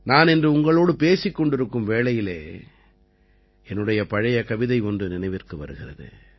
நான் இன்று உங்களோடு பேசிக் கொண்டிருக்கும் வேளையிலே என்னுடைய பழைய கவிதை ஒன்று நினைவிற்கு வருகிறது